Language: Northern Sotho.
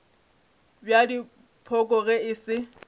bja dipoko ge e se